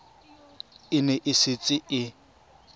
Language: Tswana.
e ne e setse e